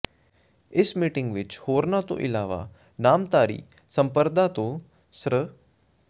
ਇਸ ਮੀਟਿੰਗ ਵਿੱਚ ਹੋਰਨਾਂ ਤੋਂ ਇਲਾਵਾ ਨਾਮਧਾਰੀ ਸੰਪਰਦਾ ਤੋਂ ਸ੍ਰ